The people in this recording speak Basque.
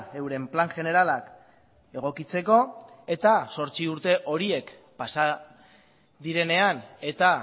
euren plan generalak egokitzeko eta zortzi urte horiek pasa direnean eta